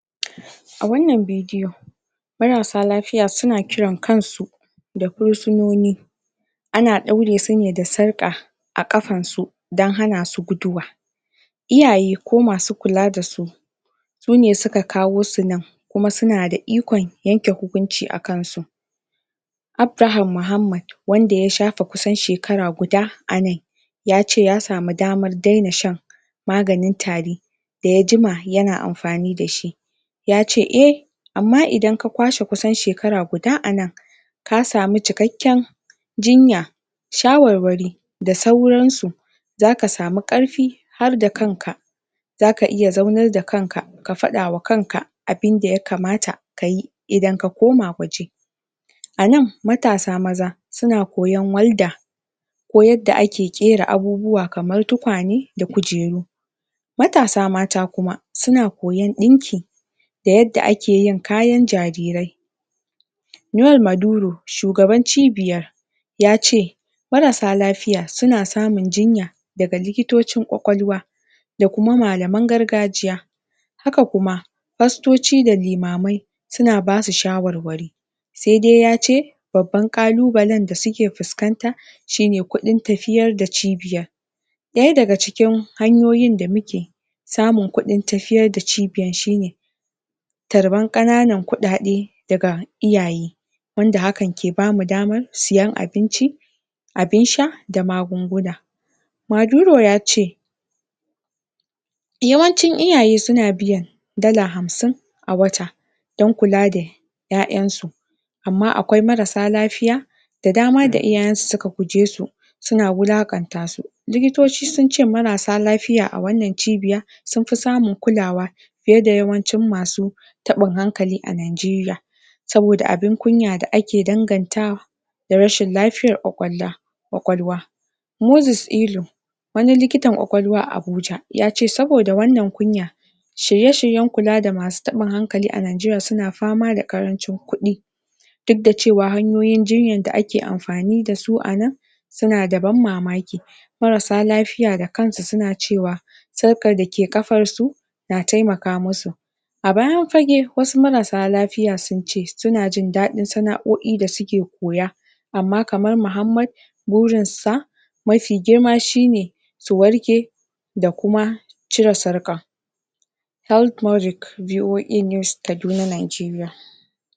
a wannan bidiyon mararsa lafiya suna kiran kansu da fursinoni ana dauresu ne da sarka a kafarsu dan hanasu guduwa iyaye ko masu kula da su sune suka kawosu nan kuma suna da ikon yanke hukunci a kan su abraham muhammad wanda ya shafe kusan shekara kuda anan yace ya samu daman daina shan maganin tari da ya jima yana anfani dashin yace eh amma idan ka kwashe kusan shekara guda anan ka samu cikakken jinya shawarwari da sauransu zaka samu karfi harda kanka zaka iya zaunar da kanka ka fadama kanka abin da ya kamata kayi idan ka koma waje anan matasa maza suna koyan walda ko yadda ake kera abubuwa kaman tukwane da kujeru matasa mata kuma suna koyan dinki da yadda akeyin kayan jarirai nuwal maduru shugaban cibiyar yace mararsa lafiya suna samun jinya daga likitoncin kwakwalwa dakuma malam gargajiya haka kuma pastoci da limamai suna basu shwarwari saidai yace babban kalubalen da suke fuskata shine kudin tafiyar da cibiyar daya daga cikin hanyoyin da muke samun kudin tafiyar da cibiyar shine karfan kananan kudade daga iyaye wanda hakan ke bamu daman sayan abinci abin sha da magunguna maduro yace yawancin iyaye suna biyan dala hamsin a wata dan kula da yayan su amma akwai marar sa lafiya da dama da iyayen su suka gugesu suna walakantasu likitoci sunce marasssa lafiya a wannan cibiya sunfi samun kulawa fiye da yawancin masu tabin hankali a Nigeria sabo da abin kunya da ake dangantawa da rashin lafiyan kwakwalwa kwakwalwa moses ilu wani kilitan kwakwalwa a Abuja yace sabo da wannan kunya shirye shiryen kula da masu tabin hankali a Nigeria suna fama da karancin kudi dudda cewa hanyoyin jinyan da ake anfani dasu anan suna da ban mamaki mararsa lafiya da kansu suna cewa sarkar da ke kafarsu na taimaka musu a bayan fage wasu marasa lafiya, sunce, suna jin dadin sanaoi da suke koya amma kaman muhammad burin sa mafi girma shine ki warke da kuma cire sarkan healthmoric BOA news Kaduna Nigeria